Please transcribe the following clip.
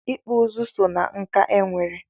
Ịkpụ ụzụ so ná nkà e nwere.